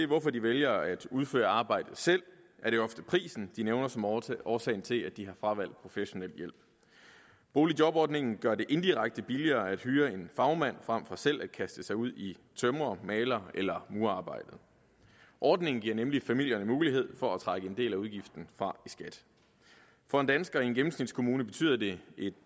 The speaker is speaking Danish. hvorfor de vælger at udføre arbejdet selv er det ofte prisen de nævner som årsagen årsagen til at de har fravalgt professionel hjælp boligjobordningen gør det indirekte billigere at hyre en fagmand frem for selv at kaste sig ud i tømrer maler eller murerarbejdet ordningen giver nemlig familierne mulighed for at trække en del af udgiften fra i skat for en dansker i en gennemsnitskommune betyder det et